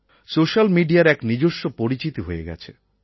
social মিডিয়ার এক নিজস্ব পরিচিতি হয়ে গেছে